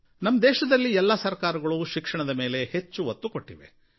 ನಮ್ಮ ದೇಶದಲ್ಲಿ ಎಲ್ಲಾ ಸರಕಾರಗಳು ಶಿಕ್ಷಣದ ಮೇಲೆ ಹೆಚ್ಚು ಒತ್ತು ಕೊಟ್ಟಿವೆ